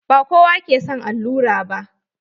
Ba kowa ke son allura ba.